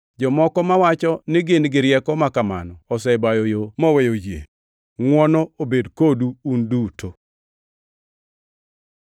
Jomoko mawacho ni gin gi rieko ma kamano osebayo yo moweyo yie. Ngʼwono obed kodu un duto.